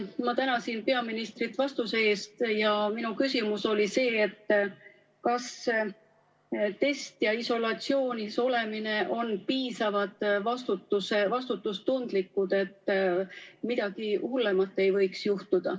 Ma tänasin peaministrit vastuse eest ja minu küsimus oli see, et kas test ja isolatsioonis olemine on piisavalt vastutustundlikud, et midagi hullemat ei võiks juhtuda.